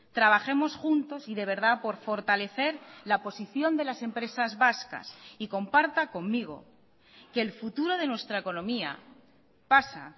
trabajemos juntos y de verdad por fortalecer la posición de las empresas vascas y comparta conmigo que el futuro de nuestra economía pasa